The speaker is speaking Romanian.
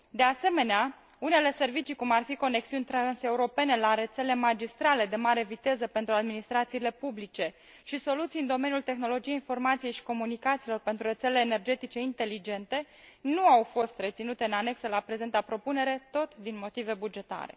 De asemenea, unele servicii, cum ar fi conexiuni transeuropene la rețele magistrale de mare viteză pentru administrațiile publice și soluții în domeniul tehnologiei informației și comunicațiilor pentru rețelele energetice inteligente nu au fost reținute în anexă la prezenta propunere, tot din motive bugetare.